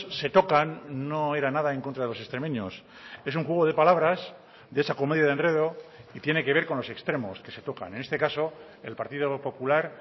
se tocan no era nada en contra de los extremeños es un juego de palabras de esa comedia de enredo y tiene que ver con los extremos que se tocan en este caso el partido popular